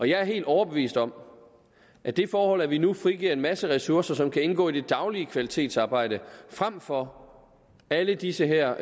jeg er helt overbevist om at det forhold at vi nu frigiver en masse ressourcer som kan indgå i det daglige kvalitetsarbejde frem for alle disse her